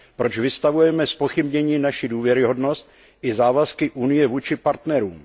Proč vystavujeme zpochybnění naši důvěryhodnost i závazky Unie vůči partnerům?